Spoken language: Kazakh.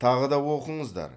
тағы да оқыңыздар